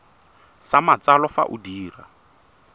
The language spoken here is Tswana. sa matsalo fa o dira